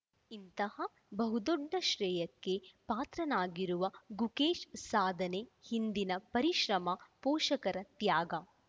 ಇಂತಹ ಬಹುದೊಡ್ಡ ಶ್ರೇಯಕ್ಕೆ ಪಾತ್ರನಾಗಿರುವ ಗುಕೇಶ್‌ ಸಾಧನೆ ಹಿಂದಿನ ಪರಿಶ್ರಮ ಪೋಷಕರ ತ್ಯಾಗ